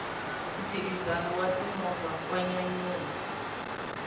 mphikizano wa ti movha wa nyanyula